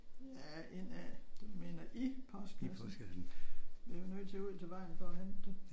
Ja ind af? Du mener i postkassen. Vi er jo nødt til at gå ud til vejen for at hente det